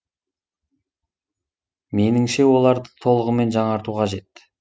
меніңше оларды толығымен жаңарту қажет